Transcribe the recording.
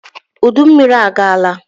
Udummiri agaala